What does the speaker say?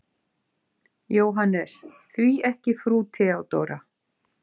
JÓHANNES: Því ekki frú Theodóra?